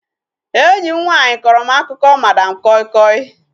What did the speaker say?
Enyi m nwaanyị kọrọ m akụkọ madam koi koi